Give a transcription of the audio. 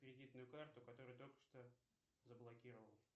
кредитную карту которую только что заблокировал